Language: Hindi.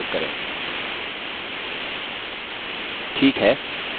ठीक है अब अगले विषय पर चलते हैं